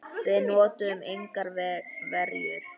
Við notuðum engar verjur.